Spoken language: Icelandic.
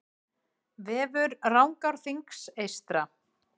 Vefur Rangárþings eystra